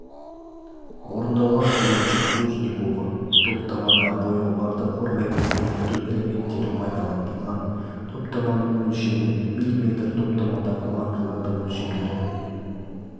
орындалған суретшісі плужникова топтамада бояуларды қорғайтын бекіту элементтері пайдаланылған топтаманың өлшемі мм топтамадағы маркалардың өлшемдері